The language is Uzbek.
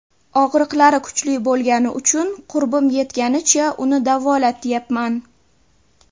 Og‘riqlari kuchli bo‘lgani uchun qurbim yetganicha uni davolatyapman.